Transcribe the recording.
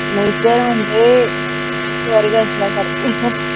nature म्हनजे स्वर्ग असल्या सारखं